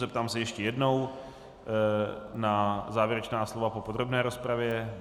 Zeptám se ještě jednou na závěrečná slova po podrobné rozpravě.